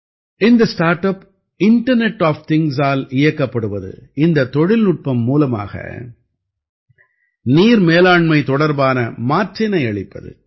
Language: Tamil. இந்த ஸ்டார்ட் அப் இண்டர்நெட் ஆஃப் திங்க்ஸால் இயக்கப்படுவது இந்தத் தொழில்நுட்பம் மூலமாக நீர் மேலாண்மை தொடர்பான மாற்றினை அளிப்பது